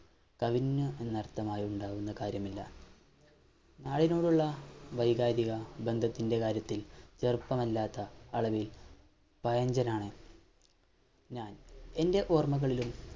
കഴിഞ്ഞു എന്നർത്ഥമായുണ്ടാകുന്ന കാര്യമില്ല ആളുകളോടുള്ള വൈകാരിക ബന്ധത്തിൻറെ കാര്യത്തിൽ വ്യർത്ഥമല്ലാത്ത അളവിൽ പഴഞ്ചനാണ് ഞാൻ എൻറെ ഓർമകളിലും